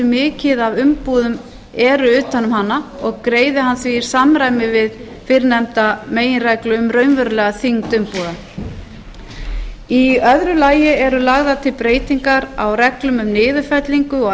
mikið af umbúðum eru utan um hana og greiðir hann því í samræmi við fyrrnefnda meginreglu um raunverulega þyngd umbúða í öðru lagi eru lagðar til breytingar á reglum um niðurfellingu og